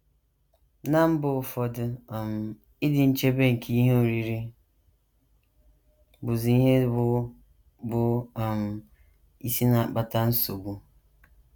Ná mba ụfọdụ, um ịdị nchebe nke ihe oriri bụzi ihe bụ́ bụ́ um isi na - akpata nchegbu.